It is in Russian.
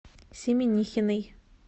семенихиной